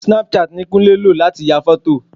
Snapchat ni Kúnlé lò láti ya fọ́tò